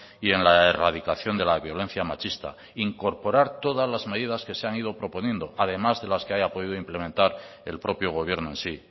y en la erradicación de la violencia machista incorporar todas las medidas que se han ido proponiendo además de las que haya podido implementar el propio gobierno en sí